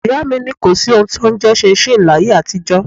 Ìyá mi ní kò sí ohun tí ó ń jẹ ṣinṣin láyé àtijó.